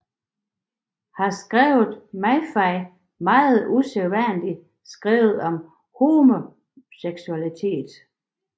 Her havde Mahaffy meget usædvanligt skrevet om homoseksualitet